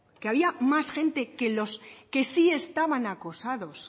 que había más gente que los que sí estaban acosados